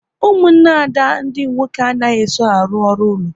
Ụmụnne Ada ndị nwoke anaghị eso arụ ọrụ ụlọ